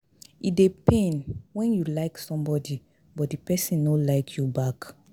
E dey pain when you like somebody but the person no like you back